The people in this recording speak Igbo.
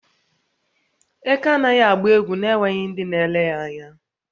Eké anaghị agba egwu na-enweghị ndị na-ele ya anya.